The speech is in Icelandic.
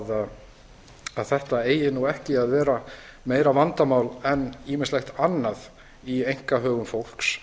við að þetta eigi nú ekki að vera meira vandamál en ýmislegt annað í einkahögum fólks